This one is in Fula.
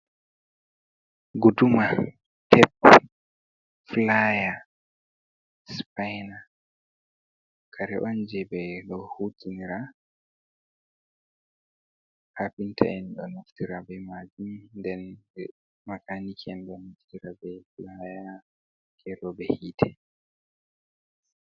Guduma tep pilaya sipaina kare on je ɓeɗo hutinira kapinta en ɗo naftira be majum den makaniki en ɗo naftira be pilaya gero be hite